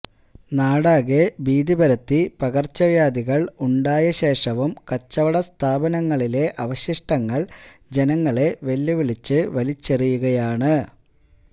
നാടാകെ ഭീതിപരത്തി പകര്ച്ചവ്യാഥികള് ഉണ്ടായശേഷവും കച്ചവട സ്ഥാപനങ്ങളിലെ അവശിഷ്ടങ്ങള് ജനങ്ങളെ വെല്ലുവിളിച്ച് വലിച്ചെറിയുകയാണ്